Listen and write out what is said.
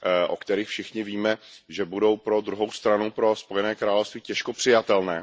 o kterých všichni víme, že budou pro druhou stranu, pro Spojené království, těžko přijatelné.